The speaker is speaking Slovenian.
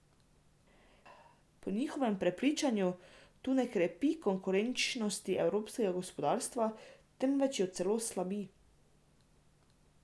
Po njihovem prepričanju ta ne krepi konkurenčnosti evropskega gospodarstva, temveč jo celo slabi.